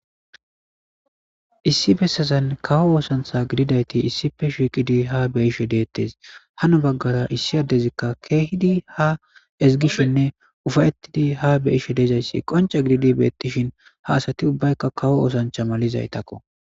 Issi bessazan kawo oosantha gididayti issife shiiqidi ha beyishe deettes hano baggara issi addezikka keehidi ha ezgishenne ufayettidi ha beyishe deezayssi qonca gididi beettishin ha asati ubbaykka kawo oosancha malizaytakko.